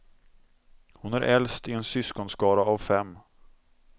Hon är äldst i en syskonskara av fem.